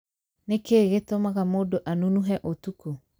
Nĩkĩ gĩtũmaga mũndũ anunuhe ũtuko?